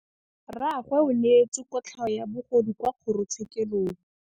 Rragwe o neetswe kotlhaô ya bogodu kwa kgoro tshêkêlông.